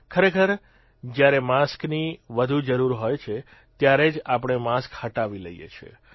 ખરેખર જયારે માસ્કની વધુ જરૂર હોય છે ત્યારે જ આપણે માસ્ક હટાવી લઇએ છીએ